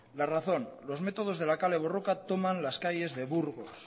la razón los métodos de la kale borroka toman las calles de burgos